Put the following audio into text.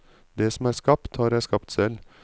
Det som er skapt, har jeg skapt selv.